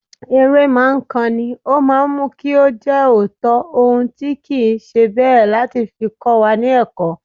Eré ma ńkan ni, ó máa ńmú kó jẹ́ òótọ́ ohun tí kì ńṣe bẹ́ẹ̀ láti fi kówa ní ẹ̀kọ́.